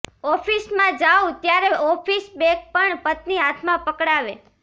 ઓફિસમાં જાઉં ત્યારે ઓફિસ બેગ પણ પત્ની હાથમાં પકડાવે